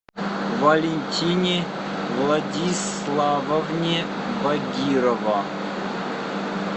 валентине владиславовне багирова